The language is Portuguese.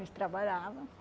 A gente trabalhava.